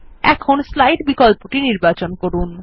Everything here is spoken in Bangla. এখন স্লাইডস বিকল্পটি নির্বাচন করুন